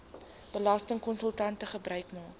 belastingkonsultante gebruik maak